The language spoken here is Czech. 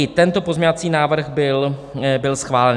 I tento pozměňovací návrh byl schválen.